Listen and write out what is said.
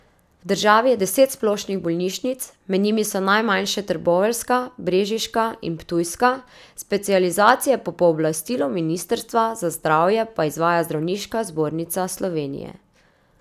V državi je deset splošnih bolnišnic, med njimi so najmanjše trboveljska, brežiška in ptujska, specializacije po pooblastilu ministrstva za zdravje pa izvaja Zdravniška zbornica Slovenije.